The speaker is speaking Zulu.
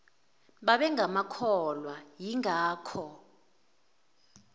babenga makholwa ingakho